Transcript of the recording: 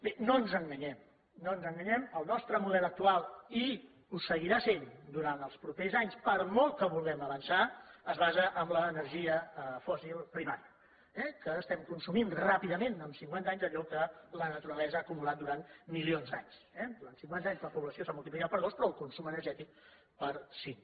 bé no ens enganyem no ens enganyem el nostre model actual i ho seguirà sent durant els propers anys per molt que vulguem avançar es basa en l’energia fòssil primària eh que estem consumint ràpidament en cinquanta anys allò que la naturalesa ha acumulat durant milions d’anys eh durant cinquanta anys la població s’ha multiplicat per dos però el consum energètic per cinc